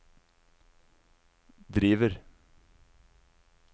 driver